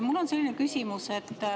Mul on selline küsimus.